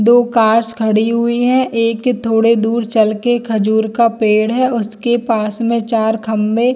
दो कार्स खड़ी हुई हैएक थोड़े दुर चलके खजूर का पेड़ है उसके पास में चार खंबे --